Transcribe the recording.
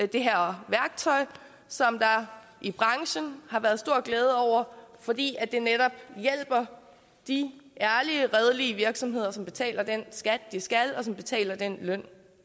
det her værktøj som der i branchen har været stor glæde over fordi det netop hjælper de ærlige og redelige virksomheder som betaler den skat de skal og som betaler den løn